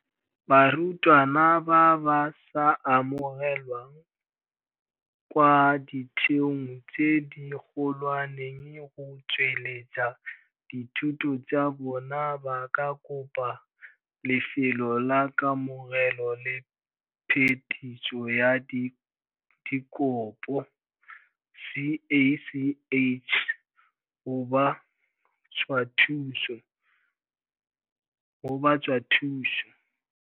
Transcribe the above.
Barutwana ba ba sa amogelwang kwa ditheong tse dikgolwane go tsweletsa dithuto tsa bona ba ka kopa Lefelo la Kamogelo le Phetiso ya Dikopo, CACH, go ba tswa thuso.